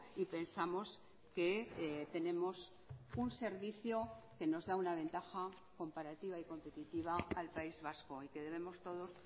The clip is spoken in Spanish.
y pensamos que tenemos un servicio que nos da una ventaja comparativa y competitiva al país vasco y que debemos todos